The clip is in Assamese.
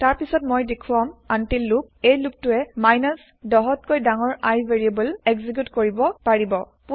তাৰ পিছত মই দেখুৱাম আনতিল্ লুপ এই লুপ টোই ১০ ত কৈ ডাঙৰ I ভেৰিয়েবল এক্জেকিউত কৰিব পাৰিব